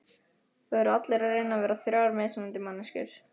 Það eru allir að reyna að vera þrjár mismunandi manneskjur.